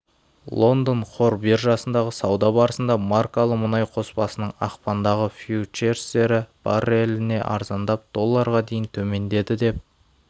лондон қор биржасындағы сауда барысында маркалы мұнай қоспасының ақпандағы фьючерстері барреліне арзандап долларға дейін төмендеді деп